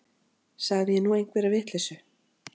Sagði ég nú einhverja vitleysu.